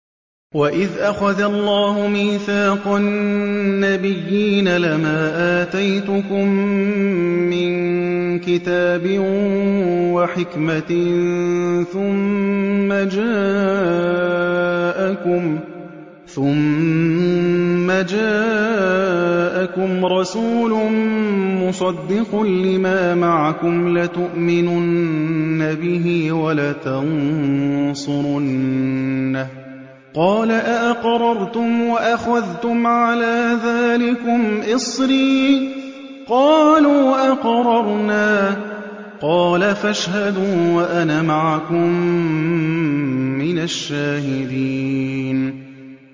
وَإِذْ أَخَذَ اللَّهُ مِيثَاقَ النَّبِيِّينَ لَمَا آتَيْتُكُم مِّن كِتَابٍ وَحِكْمَةٍ ثُمَّ جَاءَكُمْ رَسُولٌ مُّصَدِّقٌ لِّمَا مَعَكُمْ لَتُؤْمِنُنَّ بِهِ وَلَتَنصُرُنَّهُ ۚ قَالَ أَأَقْرَرْتُمْ وَأَخَذْتُمْ عَلَىٰ ذَٰلِكُمْ إِصْرِي ۖ قَالُوا أَقْرَرْنَا ۚ قَالَ فَاشْهَدُوا وَأَنَا مَعَكُم مِّنَ الشَّاهِدِينَ